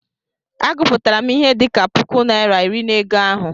Agụpụtara m ihe dị ka puku naịra iri na ego ahụ.